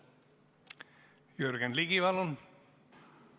Jürgen Ligi, palun!